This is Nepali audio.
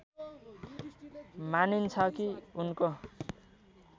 मानिन्छ कि उनको